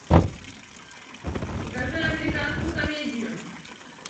покажи американскую комедию